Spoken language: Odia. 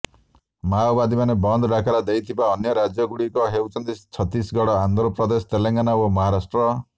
ମାଓବାଦୀମାନେ ବନ୍ଦ ଡାକରା ଦେଇଥିବା ଅନ୍ୟ ରାଜ୍ୟଗୁଡ଼ିକ ହେଉଛି ଛତିଶଗଡ଼ ଆନ୍ଧ୍ରପ୍ରଦେଶ ତେଲେଙ୍ଗାନା ଓ ମହାରାଷ୍ଟ୍ର